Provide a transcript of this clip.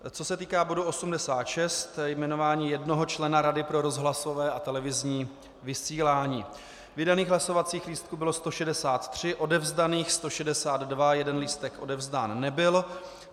Co se týká bodu 86, jmenování jednoho člena Rady pro rozhlasové a televizní vysílání, vydaných hlasovacích lístků bylo 163, odevzdaných 162, jeden lístek odevzdán nebyl.